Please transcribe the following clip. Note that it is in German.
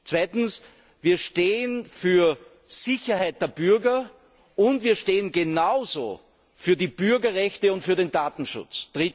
Zweitens stehen wir für die Sicherheit der Bürger, und wir stehen genauso für die Bürgerrechte und für den Datenschutz.